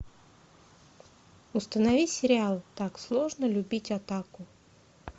установи сериал так сложно любить атаку